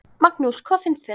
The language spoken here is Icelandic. Magnús: Hvað finnst þér?